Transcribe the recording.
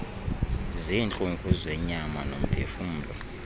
ziintlungu zenyama nomphefumlo